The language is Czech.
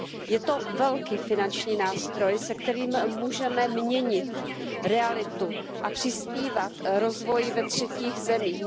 Je to velký finanční nástroj, se kterým můžeme měnit realitu a přispívat k rozvoji ve třetích zemích.